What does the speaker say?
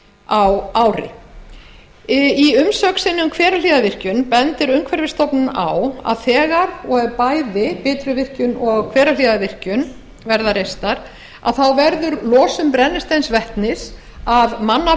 á ári í umsögn sinni um hverahlíðarvirkjun bendir umhverfisstofnun á að þegar og ef bæði bitruvirkjun og hverahlíðarvirkjun verða reistar verði losun brennisteinsvetnis af manna